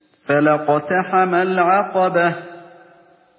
فَلَا اقْتَحَمَ الْعَقَبَةَ